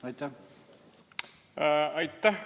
Aitäh!